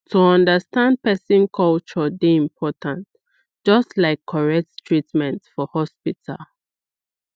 to understand person culture dey important just like correct treatment for hospital